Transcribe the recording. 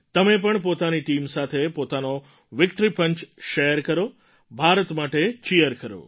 તમે પણ પોતાની ટીમ સાથે પોતાનો વિક્ટરી પંચ શૅર કરો ભારત માટે ચીયર કરો